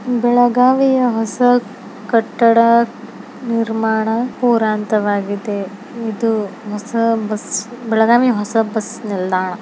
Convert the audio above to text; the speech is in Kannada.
ಬೆಳಗಾವಿಯ ಹೊಸ ಕಟ್ಟಡ ನಿರ್ಮಾಣ ಪೂರ ಹಂತವಾಗಿದೆ ಇದು ಹೊಸ ಬಸ್ಸು ಬೆಳಗಾವಿ ಹೊಸ ಬಸ್ಸು ನಿಲ್ದಾಣ.